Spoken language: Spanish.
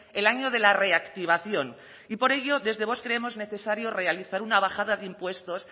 el año de la reactivación y por ello desde vox creemos necesario realizar una bajada de impuestos